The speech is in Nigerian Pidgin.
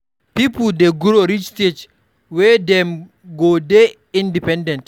Pipo dey grow reach stage wey dem go dey independent